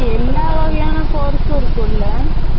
எல்லா வகையான course யும் இருக்கும்ல